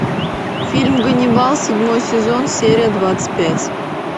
фильм ганнибал седьмой сезон серия двадцать пять